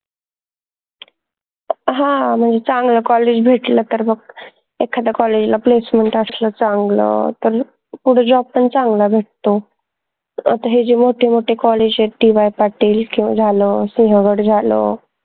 हां म्हनजे चांगलं college भेटलं तर मग एखाद college ला placement असलं चांगलं तर मग पुढं job पन चांगला भेटतो आता हे जे मोठे मोठे college आहेत DY पाटील झालं सिंहगड झालं